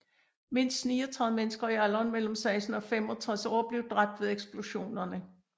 Mindst 39 mennesker i alderen mellem 16 og 65 år blev dræbt ved eksplosionerne